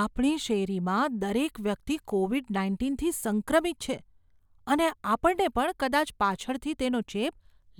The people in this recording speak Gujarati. આપણી શેરીમાં દરેક વ્યક્તિ કોવિડ નાઇન્ટીનથી સંક્રમિત છે અને આપણને પણ કદાચ પાછળથી તેનો ચેપ